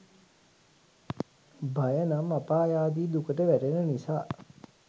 භය නම් අපායාදී දුකට වැටෙන නිසා